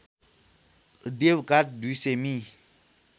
देवघाट २०० मि